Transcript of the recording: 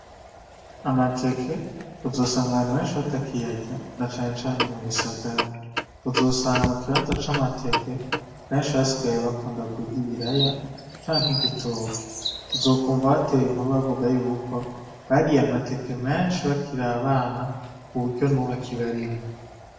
Amateke uzosanga benshi batakiyarya na cane cane mu bisagara, uzosanga mu kibanza c'amateke benshi basigaye bakunda kurya ibiraya canke igitoke, uzokumva batera inkuru bavuga yuko bariye amateke menshi bakiri abana kuburyo nubu akibarimwo.